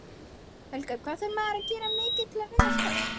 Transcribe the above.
Helga: Hvað þarf maður að gera til að vinna skák?